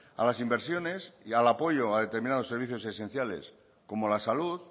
a las inversiones y al apoyo a determinados servicios esenciales como la salud